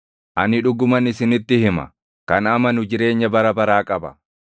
Ani dhuguman isinitti hima; kan amanu jireenya bara baraa qaba.